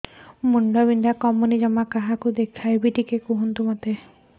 ମୁଣ୍ଡ ବିନ୍ଧା କମୁନି ଜମା କାହାକୁ ଦେଖେଇବି